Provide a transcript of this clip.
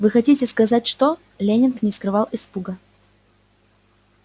вы хотите сказать что леннинг не скрывал испуга